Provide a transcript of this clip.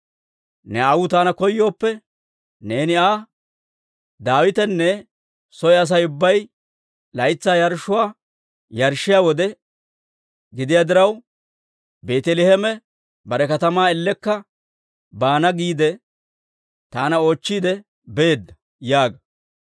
Ne aawuu taana koyooppe, neeni Aa, ‹Daawitenttu soo Asay ubbay laytsaa yarshshuwaa yarshshiyaa wode gidiyaa diraw, Beeteleeme bare katamaa ellekka baana giide, taana oochchiide beedda› yaaga.